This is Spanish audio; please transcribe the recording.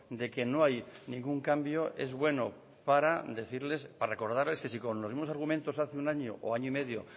de que no hay ningún cambio es bueno para decirles para recordarles que si con los mismos argumentos hace un año o año y medio